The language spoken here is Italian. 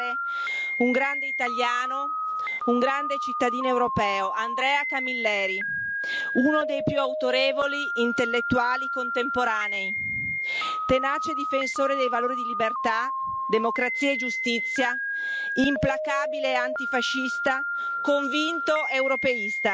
Gentile colleghe e colleghi, oggi è venuto a mancare un grande italiano, un grande cittadino europeo, Andrea Camilleri, uno dei più autorevoli intellettuali contemporanei, tenace difensore dei valori di libertà, democrazia e giustizia, implacabile antifascista,